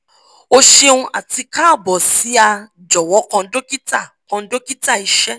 o ṣeun ati kaabo si a "jọwọ kan dokita" kan dokita" iṣẹ